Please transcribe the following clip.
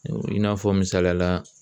I n'a fɔ misaliya la